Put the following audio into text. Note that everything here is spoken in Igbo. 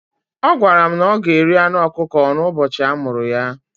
Ọ gwara m na o ga-eri anụ ọkụkọ n'ụbọchị a mụrụ ya.